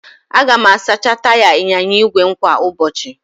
Aga m asacha taya ịnyịnya ígwè m kwa ụbọchị